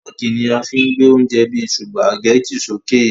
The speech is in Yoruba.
Fọ́ọ́kì ni a fí ń gbé oúnjẹ bíi Sùpàgẹ́tì sókè